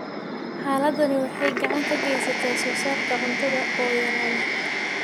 Xaaladdani waxay gacan ka geysataa soosaarka cuntada oo yaraada.